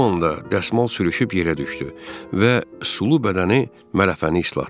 Bu anda dəsmal sürüşüb yerə düşdü və sulu bədəni mələfəni islatdı.